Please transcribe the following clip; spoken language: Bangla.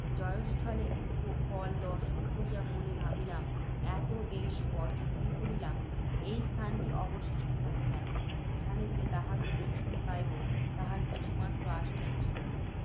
জয়স্থলের উপকল দর্শন করিয়া মনে ভাবিলাম, এত দেশ পর্য্যটন করিলাম, এই স্থানটি অবশিষ্ট থাকে কেন। এখানে যে তাহাকে দেখিতে পাইব, তাহার কিছুমাত্র আশ্বাস ছিল না